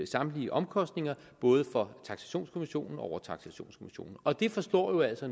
samtlige omkostninger både for taksationskommissionen og overtaksationskommissionen og det forslår jo altså